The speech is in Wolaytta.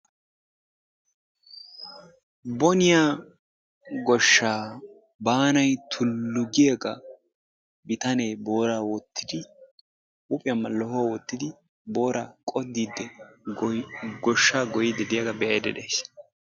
Boniya goshshaa baanay tullu giyaaga bitanee booraa wottidi huuphiyan mallahuwa wottidi booraa qoddiidi goshshaa goyiiddi diyaagaa be"ayidda dayis.